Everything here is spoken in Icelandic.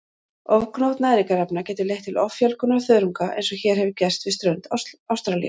Ofgnótt næringarefna getur leitt til offjölgunar þörunga eins og hér hefur gerst við strönd Ástralíu.